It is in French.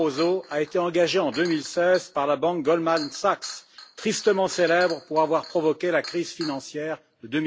Barroso, a été engagé en 2016 par la banque Goldman Sachs, tristement célèbre pour avoir provoqué la crise financière de